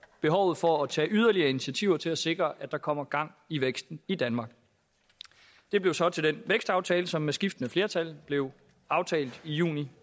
behovet for at tage yderligere initiativer til at sikre at der kommer gang i væksten i danmark det blev så til den vækstaftale som med skiftende flertal blev aftalt i juni